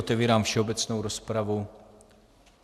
Otevírám všeobecnou rozpravu.